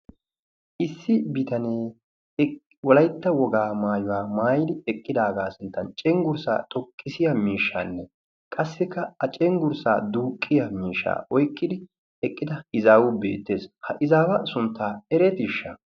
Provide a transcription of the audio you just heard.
issi bitanee wolaytta wogaa maayuwaa maayi eqqidaagaa sinttan cenggurssaa xoqqisiya miishshaanne qassikka a cenggurssaa duuqqiya miishsha oyqqidi eqqida izaawu beettees ha izaawa sunttaa eretiishsha